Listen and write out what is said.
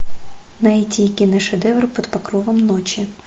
найти киношедевр под покровом ночи